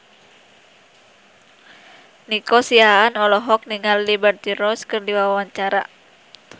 Nico Siahaan olohok ningali Liberty Ross keur diwawancara